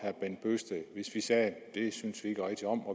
hvis vi sagde at det synes vi ikke rigtig om